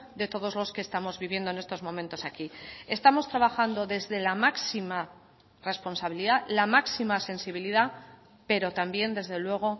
de todos los que estamos viviendo en estos momentos aquí estamos trabajando desde la máxima responsabilidad la máxima sensibilidad pero también desde luego